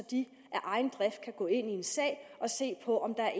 de af egen drift kan gå ind i en sag og se på om der er